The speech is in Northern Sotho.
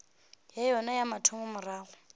ya yona ya mathomo morago